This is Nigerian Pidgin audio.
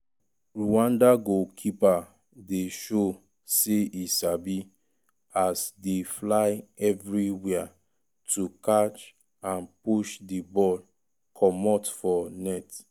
30mins- rwanda goalkeeper dey show say e sabi as dey fly evriwia to catch and push di ball comot for net.